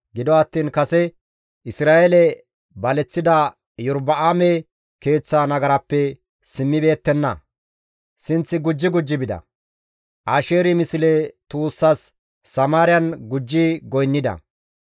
Gido attiin kase Isra7eele baleththida Iyorba7aame keeththa nagarappe simmibeettenna; sinth gujji gujji bida. Asheeri misle tuussas Samaariyan gujji goynnida.